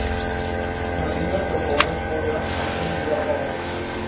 mariene bewaringsarea mba